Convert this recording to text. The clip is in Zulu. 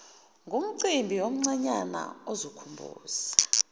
ngumcimbi omncanyana ozokhumbuza